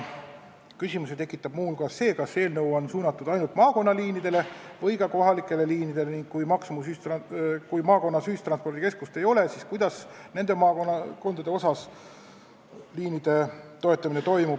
Küsimusi tekitab muu hulgas see, kas eelnõu on suunatud ainult maakonnaliinidele või ka kohalikele liinidele ning kui maakonnas ühistranspordikeskust ei ole, siis kuidas selles maakonnas liine toetatakse.